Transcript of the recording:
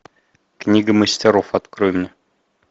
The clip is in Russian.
книга мастеров открой мне